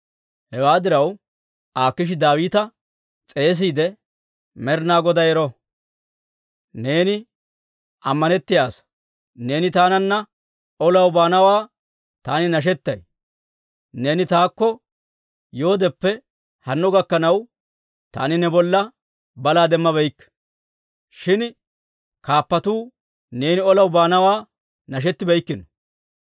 Hewaa diraw, Akiishi Daawita s'eesiide, «Med'inaa Goday ero! Neeni ammanettiyaa asaa; neeni taananna olaw baanawaa taani nashettay; neeni taakko yoodeppe hanno gakkanaw, taani ne bolla balaa demmabeykke. Shin kaappatuu neeni olaw baanawaa nashetikkino.